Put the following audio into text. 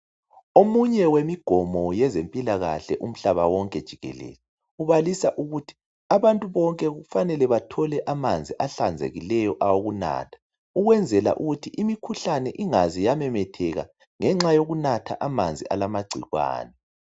Omunye wemigomo yezempilakahle umhlaba wonke jikelele kubalisa ukuthi abantu bonke kufanele bathole amanzi ahlanzekileyo okunatha ukwenzela ukuthi imikhuhlane ingaze yamemetheka ngenxa yokunatha amanzi alamagcikwana .